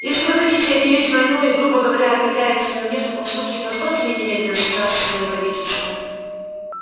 если вы хотите объявить войну и грубо говоря объявляете её мне в таком случае позвольте мне немедленно связаться с моим правительством